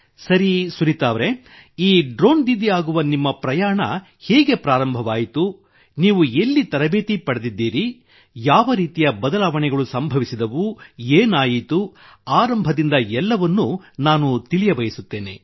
ಸರಿ ಸುನೀತಾ ಅವರೆ ಈ ಡ್ರೋನ್ ದೀದಿ ಆಗುವ ನಿಮ್ಮ ಪ್ರಯಾಣ ಹೇಗೆ ಪ್ರಾರಂಭವಾಯಿತು ನೀವು ಎಲ್ಲಿ ತರಬೇತಿ ಪಡೆದಿದ್ದೀರಿ ಯಾವ ರೀತಿಯ ಬದಲಾವಣೆಗಳು ಸಂಭವಿಸಿದವು ಏನಾಯಿತು ಆರಂಭದಿಂದ ಎಲ್ಲವನ್ನೂ ನಾನು ತಿಳಿಯಬಯಸುತ್ತೇನೆ